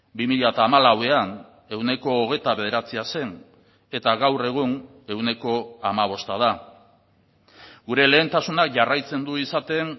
bi mila hamalauan ehuneko hogeita bederatzia zen eta gaur egun ehuneko hamabosta da gure lehentasuna jarraitzen du izaten